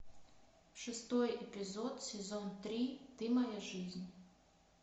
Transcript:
шестой эпизод сезон три ты моя жизнь